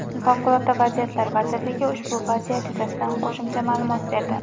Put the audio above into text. Favqulodda vaziyatlar vazirligi ushbu vaziyat yuzasida qo‘shimcha ma’lumot berdi .